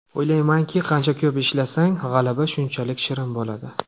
O‘ylaymanki, qancha ko‘p ishlasang, g‘alaba shunchalik shirin bo‘ladi.